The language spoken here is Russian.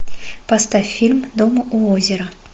поставь фильм дом у озера